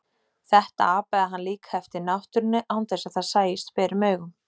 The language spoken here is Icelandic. Þetta apaði hann líka eftir náttúrunni án þess að það sæist berum augum.